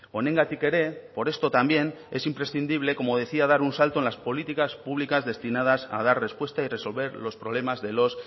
honengatik ere por esto también es imprescindible como decía dar un salto en las políticas públicas destinadas a dar respuesta y resolver los problemas de los